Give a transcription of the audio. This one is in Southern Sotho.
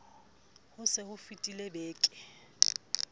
ho se ho fetile beke